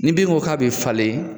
Ni binko k'a be falen